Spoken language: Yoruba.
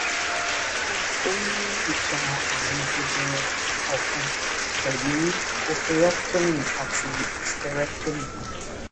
o ní ìtàn ààrùn jẹjẹrẹ ọfun pẹlú oophorectomy àti hysterectomy